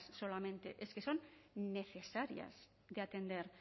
solamente es que son necesarias de atender